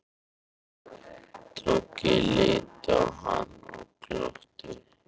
Toggi litu á hann og glottu.